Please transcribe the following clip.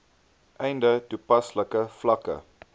einde toepaslike vlakke